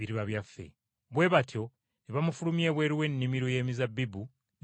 Bwe batyo ne bamufulumya ebweru w’ennimiro y’emizabbibu ne bamutta.